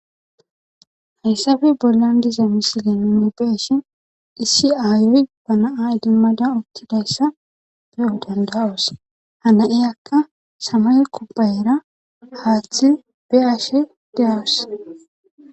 Hayssappe bollan diza misile nuni be'ishin issi aaya na'a idimada uttidaysa be'o danda'oos. Ha na'iyaka samaye kubayera haathe ugashe de'awus.